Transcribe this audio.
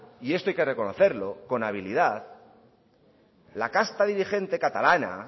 y esto hay que reconocerlo con habilidad la casta dirigente catalana